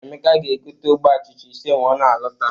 Emeka ga-gote ogbe achịcha ise ma ọ na-alọta.